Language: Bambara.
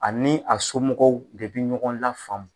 Ani a somɔgɔw de bi ɲɔgɔn la faamu.